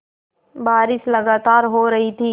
बारिश लगातार हो रही थी